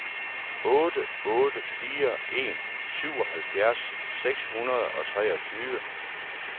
otte otte fire en syvoghalvfjerds seks hundrede og treogtyve